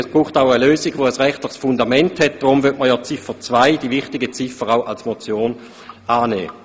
Diese Lösung benötigt jedoch ein rechtliches Fundament, und deshalb möchte man ja auch die wichtige Ziffer 2 als Motion annehmen.